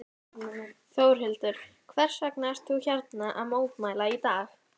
Þórhildur: Hvers vegna ert þú hérna að mótmæla í dag?